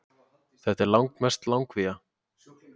Þetta er langmest langvía